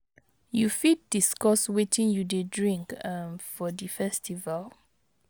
you fit discuss wetin you dey drink um for di festival?